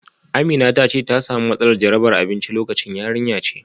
Amina ta ce ta samu matsalar jarabar abinci lokacin. yarinya ce